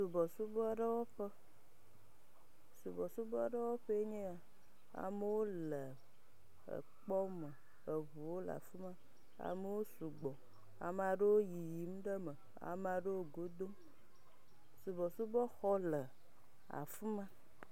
Subɔsubɔ aɖewo ƒe…. subɔsubɔ aɖewo ƒee nye ya. Amewo le ekpɔ me. Eŋuwo le afima. Amewo sugbɔ, ame aɖewo yiyim ɖe eme, ame aɖewo godom. Subɔsubɔ xɔ le afima.ɛ